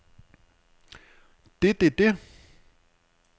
det det det